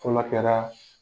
fɔ n'a kɛra